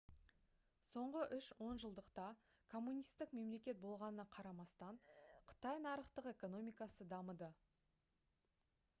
соңғы үш онжылдықта коммунистік мемлекет болғанына қарамастан қытай нарықтық экономикасы дамыды